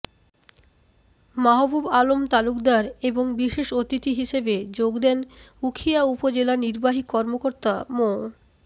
মাহবুব আলম তালুকদার এবং বিশেষ অতিথি হিসেবে যোগ দেন উখিয়া উপজেলা নির্বাহী কর্মকর্তা মো